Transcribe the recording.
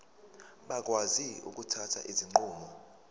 bakwazi ukuthatha izinqumo